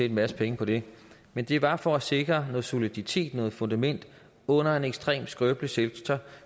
en masse penge på det men det var for at sikre noget soliditet noget fundament under en ekstremt skrøbelig sektor